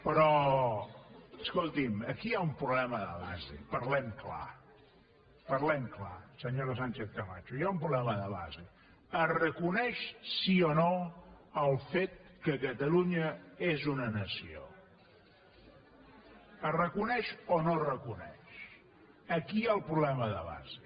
però escolti’m aquí hi ha un problema de base parlem clar parlem clar senyora sánchez camacho hi ha un problema de base es reconeix sí o no el fet que catalunya és una nació es reconeix o no es reconeix aquí hi ha el problema de base